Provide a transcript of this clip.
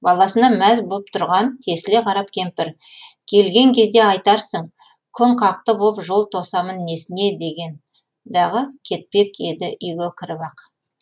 баласына мәз боп тұрған тесіле қарап кемпір келген кезде айтарсың күн қақты боп жол тосамын несіне деген дағы кетпек еді үйге кіріп ақ